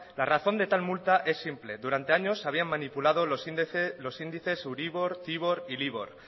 la razón de tal multa es simple durante años habían manipulado los índices euribor tibor y libor